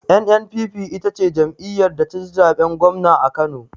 NNPP ita ce jam'iyar da taci zaɓen gwamna a kano